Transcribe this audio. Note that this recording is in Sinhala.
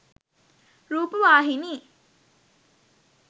rupawahini